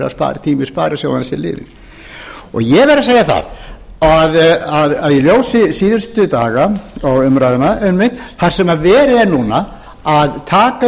vel verið tími sparisjóðanna sé liðinn ég verð að segja að í ljósi síðustu daga og umræðunnar einmitt þar sem verið er núna að taka